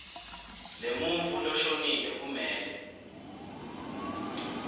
lemuntfu loshonile kumele